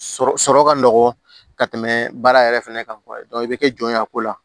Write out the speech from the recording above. Sɔrɔ sɔrɔ ka nɔgɔ ka tɛmɛ baara yɛrɛ fɛnɛ kan i bɛ kɛ jɔn ye a ko la